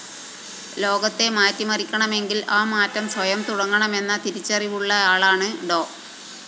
ലോകത്തെ മാറ്റിമറിക്കണമെങ്കില്‍ ആ മാറ്റം സ്വയം തുടങ്ങണമെന്ന തിരിച്ചറിവുള്ളയാളാണ് ഡോ